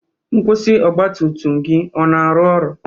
Nkwusi ọgbatumtum gị ọ na-arụ ọrụ?